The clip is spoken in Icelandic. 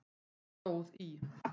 stóð í